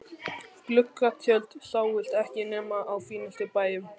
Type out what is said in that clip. Gluggatjöld sáust ekki nema á fínustu bæjum.